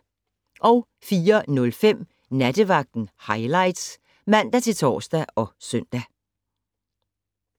04:05: Nattevagten Highlights (man-tor og søn)